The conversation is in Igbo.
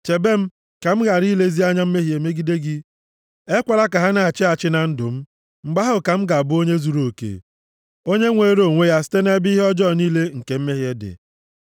Chebe m, ka m ghara ilezi anya mehie megide gị. Ekwela ka ha na-achị achị na ndụ m. Mgbe ahụ ka m ga-abụ onye zuruoke, onye nwere onwe ya site nʼebe ihe ọjọọ niile nke mmehie dị.